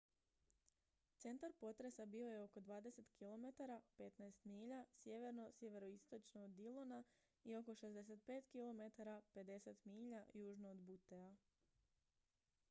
centar potresa bio je oko 20 km 15 milja sjeverno/sjeveroistočno od dillona i oko 65 km 50 milja južno od buttea